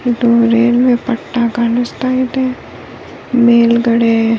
ಇದು ರೈಲ್ವೆ ಪಟ್ಟ ಕಾಣಿಸ್ತಾ ಇದೆ ಮೇಲ್ಗಡೆ --